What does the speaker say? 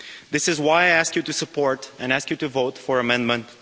This is why I ask you to support and ask you to vote for Amendment